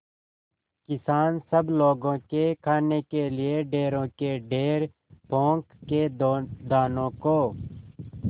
किसान सब लोगों के खाने के लिए ढेरों के ढेर पोंख के दानों को